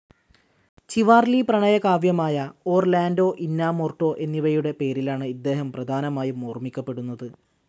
Chivalry, പ്രണയകാവ്യമായ Orlando Innamorato എന്നിവയുടെ പേരിലാണ്‌ ഇദ്ദേഹം പ്രധാനമായും ഓർമ്മിക്കപ്പെടുന്നത്.